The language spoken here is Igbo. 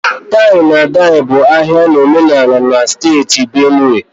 tie-na-edye bụ ahia na omenala na steeti Benue